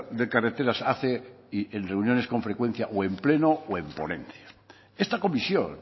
de carreteras hace y en reuniones con frecuencia o en pleno o en ponencia esta comisión